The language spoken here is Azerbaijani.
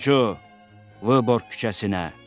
Faytonçu, Vıborq küçəsinə!